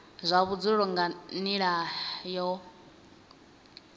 zwa vhudzulo nga nila yo